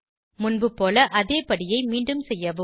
முன்புபோல அதே படியை மீண்டும் செய்யவும்